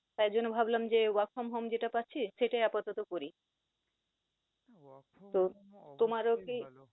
তাই জন্য ভাবলাম যে work from home যেটা পাচ্ছি সেটাই আপাতত করি। তো তোমারও কি